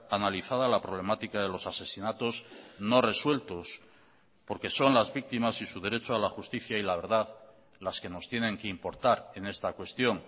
analizada la problemática de los asesinatos no resueltos porque son las víctimas y su derecho a la justicia y la verdad las que nos tienen que importar en esta cuestión